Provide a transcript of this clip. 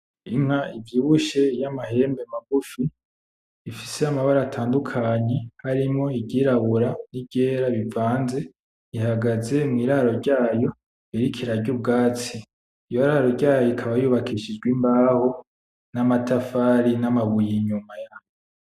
Inka ivyibushe yamahembe magufi, ifise amabara atandukanye harimwo iryirabura n'iryera bivanze, ihagaze mwiraro ryayo iriko irarya ubwatsi. Iryoraro ikaba yubakishije imbaho, namatafari, namabuye inyuma yaho.